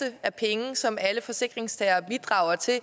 af penge som alle forsikringstagere bidrager til